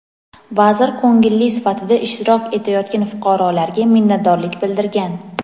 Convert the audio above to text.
vazir ko‘ngilli sifatida ishtirok etayotgan fuqarolarga minnatdorlik bildirgan.